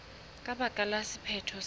ka baka la sephetho se